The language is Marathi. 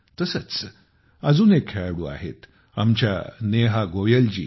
तसंचअजून एक खेळाडू आहेत आमच्या नेहा गोयलजी